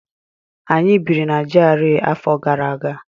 Anyị biri na GRA afọ gara aga.